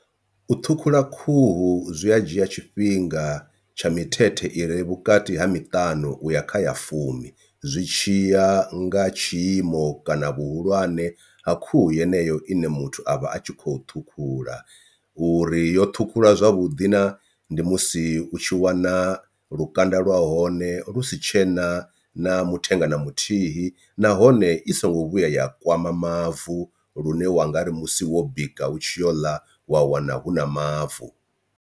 U thukhula khuhu zwi a dzhia tshifhinga tsha mithethe ire vhukati ha miṱanu uya kha ya fumi zwi tshiya nga tshiimo kana vhuhulwane ha khuhu yeneyo ine muthu avha a tshi khou ṱhukhula, uri yo ṱhukhuliwa zwavhuḓi na ndi musi u tshi wana lukanda lwa hone lu si tshena na muthenga na muthihi nahone i songo vhuya ya kwama mavu lune wanga ri musi wo bika u tshi yo ḽa wa wana hu na mavu.